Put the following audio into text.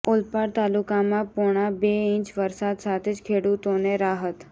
ઓલપાડ તાલુકામાં પોણા બે ઈંચ વરસાદ સાથે જ ખેડૂતોને રાહત